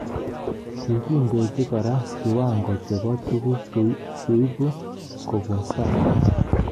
Kikindoji kora kiwango chebo tuguk cheibu kobun sang